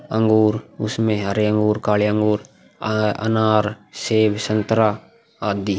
अंगूर उसमें हरे अंगूर काले अंगूर आ अनार सेब संतरा आदि।